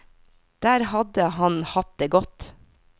Der hadde han hatt det godt.